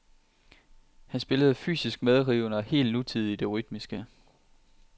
Han spillede fysisk medrivende og helt nutidigt i det rytmiske.